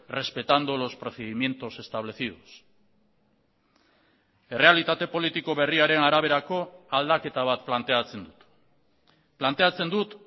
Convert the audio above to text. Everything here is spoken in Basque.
respetando los procedimientos establecidos errealitate politiko berriaren araberako aldaketa bat planteatzen dut planteatzen dut